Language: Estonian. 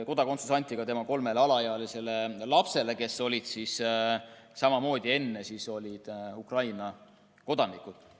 Kodakondsus antigi ka tema kolmele alaealisele lapsele, kes olid samamoodi enne Ukraina kodanikud.